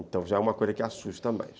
Então já é uma coisa que assusta mais.